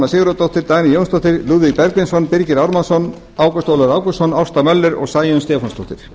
sigurðardóttir dagný jónsdóttir lúðvík bergvinsson birgir ármannsson ágúst ólafur ágústsson ásta möller og sæunn stefánsdóttir